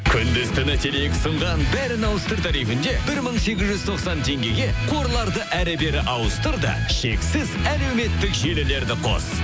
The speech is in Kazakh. күндіз түні теле екі ұсынған бәрін ауыстыр тарифінде бір мың сегіз жүз тоқсан теңгеге қорларды әрі бері ауыстыр да шексіз әлеуметтік желілерді қос